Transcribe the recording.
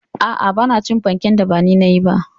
Aa, Bana cin fanken da bani nayi ba